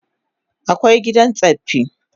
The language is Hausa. Akwai gidan tsaffi